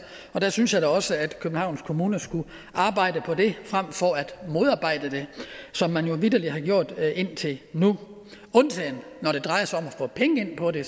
der synes jeg da også at københavns kommune skulle arbejde på det frem for at modarbejde det som man jo vitterlig har gjort indtil nu undtagen når det drejer sig om at få penge ind på det